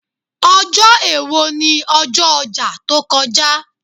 Ojo èwo ni ọjọ́ ọjà tó kọjá.